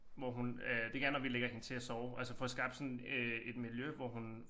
Hvor hun øh det gerne når vi lægger hende til at sove altså får skabt sådan øh et miljø hvor hun